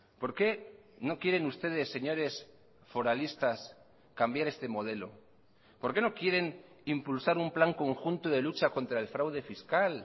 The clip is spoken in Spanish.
por qué no quieren ustedes señores foralistas cambiar este modelo por qué no quieren impulsar un plan conjunto de lucha contra el fraude fiscal